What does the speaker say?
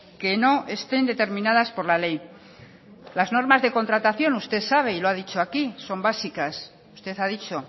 que no estén determinadas por la ley las normas de contratación usted sabe y lo ha dicho aquí son básicas usted ha dicho